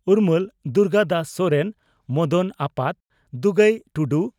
ᱩᱨᱢᱟᱹᱞ (ᱫᱩᱨᱜᱟᱫᱟᱥ ᱥᱚᱨᱮᱱ) ᱢᱚᱫᱚᱱ ᱟᱯᱟᱛ (ᱫᱩᱜᱟᱹᱭ ᱴᱩᱰᱩ)